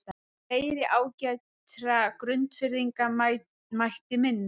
Fleiri ágætra Grundfirðinga mætti minnast.